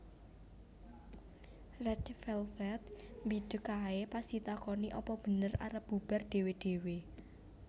Red Velvet mbideg ae pas ditakoni apa bener arep bubar dhewe dhewe